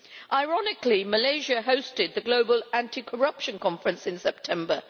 Ironically, Malaysia hosted the Global Anti Corruption Conference in September.